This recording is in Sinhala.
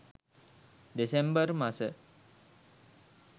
දෙසැම්බර් මස